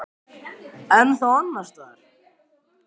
Kristján: En þá annars staðar?